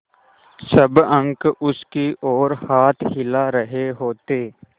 सब अंक उसकी ओर हाथ हिला रहे होते